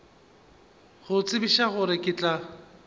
go tsebiša gore ke tla